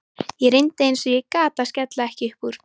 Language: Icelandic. Ég reyndi eins og ég gat að skella ekki upp úr.